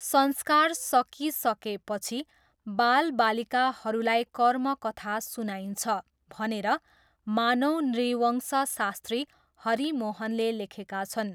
संस्कार सकिसकेपछि बाल बालिकाहरूलाई कर्म कथा सुनाइन्छ भनेर मानव नृवंशशास्त्री हरि मोहनले लेखेका छन्।